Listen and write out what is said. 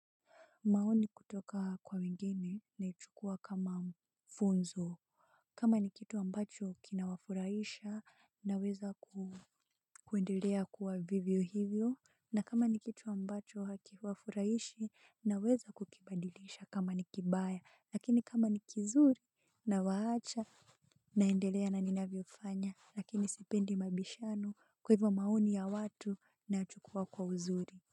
Maoni kutoka kwa wengine naichukua kama funzo. Kama ni kitu ambacho kinawafurahisha naweza kuendelea kuwa vivyo hivyo na kama ni kitu ambacho hakifurahishi naweza kukibadilisha kama nikibaya lakini kama nikizuri na waacha naendelea na ninavyo fanya lakini sipendi mabishano kwa hivyo maoni ya watu nayachukua kwa uzuri.